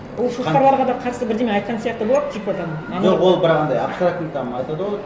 ол шошқаларға да қарсы бірдеңе айтқан сияқты болады типа там жоқ ол бірақ андай абстрактный там айтады ғой